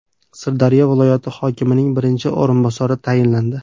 Sirdaryo viloyati hokimining birinchi o‘rinbosari tayinlandi.